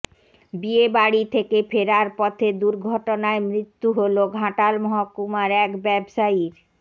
বিয়ে বাড়ি থেকে ফেরার পথে দুর্ঘটনায় মৃত্যু হল ঘাটাল মহকুমার এক ব্যবসায়ীর